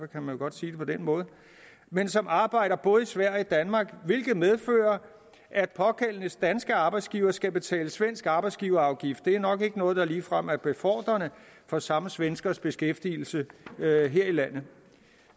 kan man godt sige det på den måde men som arbejder både i sverige og danmark hvilket medfører at pågældendes danske arbejdsgiver skal betale svensk arbejdsgiverafgift det er nok ikke noget der ligefrem er befordrende for samme svenskers beskæftigelse her i landet